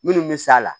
Minnu bɛ s'a la